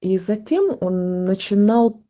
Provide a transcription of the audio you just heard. и затем он начинал